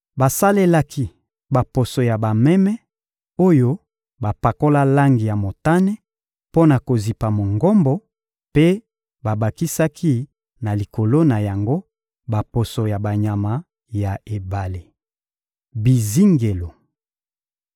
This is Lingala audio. Basalelaki baposo ya bameme oyo bapakola langi ya motane mpo na kozipa Mongombo, mpe babakisaki na likolo na yango baposo ya banyama ya ebale. Bizingelo